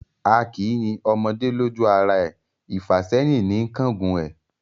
A kì í yin ọmọdé lójú ara e, ìfàsẹ́hìn ní ń kángun ẹ̀.